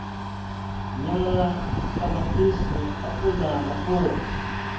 nyala ṱamaṱisi apula na fhuri